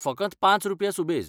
फकत पांच रुपया सुबेज.